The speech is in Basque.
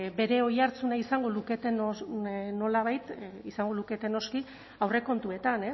bere oihartzuna izango luketen nolabait izango lukete noski aurrekontuetan